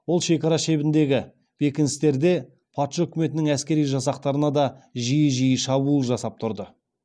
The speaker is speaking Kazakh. ол шекара шебіндегі бекіністерде патша үкіметінің әскери жасақтарына да жиі жиі шабуыл жасап тұрды